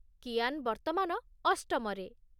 କିଆନ୍ ବର୍ତ୍ତମାନ ଅଷ୍ଟମ ରେ।